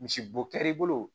Misibo kɛr'i bolo